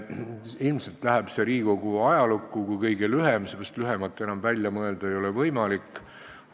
Ilmselt läheb see Riigikogu ajalukku kui kõige lühem vastus, sest enam lühemat välja mõelda ei ole võimalik.